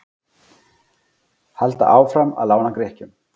Halda áfram að lána Grikkjum